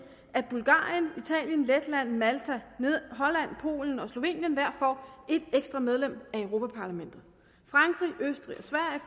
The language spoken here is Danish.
at bulgarien italien letland malta holland polen og slovenien hver får en ekstra medlem af europa parlamentet frankrig østrig